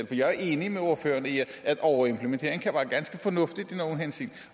for jeg er enig med ordføreren i at overimplementering kan være ganske fornuftigt i nogle henseender